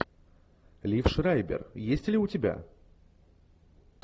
лив шрайбер есть ли у тебя